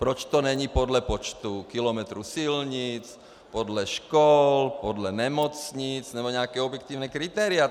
Proč to není podle počtu kilometrů silnic, podle škol, podle nemocnic nebo nějaká objektivní kritéria.